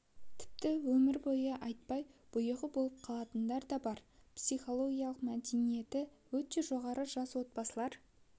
тіпті өмір бойы айтпай бұйығы болып қалатындар да бар психологиялық мәдениеті өте жоғары жас отбасылар